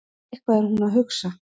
Eitthvað er hún að hugsa.